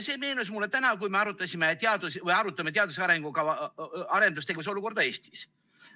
See meenus mulle täna, kui me arutame teadus‑ ja arendustegevuse olukorda Eestis.